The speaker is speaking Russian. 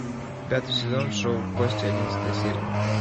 пятый сезон шоу кости одиннадцатая серия